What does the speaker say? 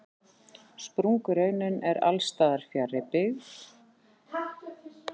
Sprungureinin er alls staðar fjarri byggð.